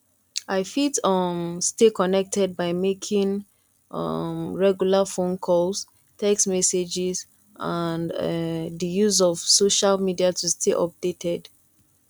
i fit um stay connected by making um regular phone calls text messages and um di use of social media to stay updated